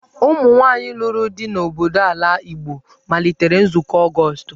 Ụmụ nwaanyị lụrụ di n'obodo n'ala Igbo malitere Nzukọ Ọgọst.